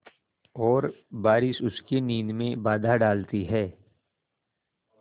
और बारिश उसकी नींद में बाधा डालती है